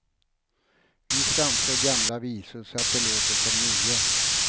Vi framför gamla visor så att de låter som nya.